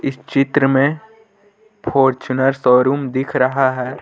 इस चित्र में फॉर्च्यूनर शोरूम दिख रहा है।